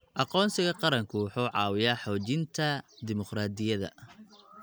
Aqoonsiga qaranku wuxuu caawiyaa xoojinta dimuqraadiyadda.